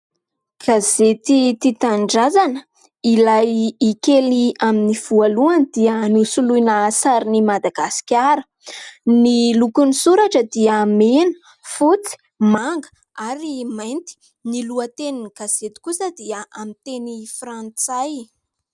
Gazety tia tanindrazana. Ilay "i" kely amin'ny voalohany dia nosoloina sarin'i Madagasikara. Ny lokon'ny soratra dia mena, fotsy, manga ary mainty. Ny lohatenin'ny gazety kosa dia amin'ny teny frantsay.